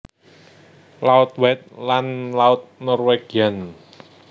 Laut White lan Laut Norwegian